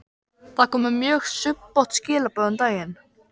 Það komu mjög snubbótt skilaboð um daginn.